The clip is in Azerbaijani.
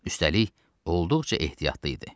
Üstəlik, olduqca ehtiyatlı idi.